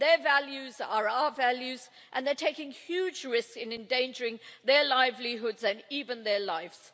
Their values are our values and they're taking huge risks in endangering their livelihoods and even their lives.